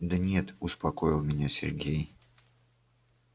да нет успокоил меня сергей